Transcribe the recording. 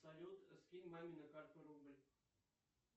салют скинь маме на карту рубль